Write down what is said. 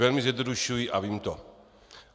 Velmi zjednodušuji a vím to.